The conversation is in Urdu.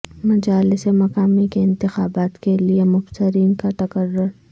مجالس مقامی کے انتخابات کے لیے مبصرین کا تقرر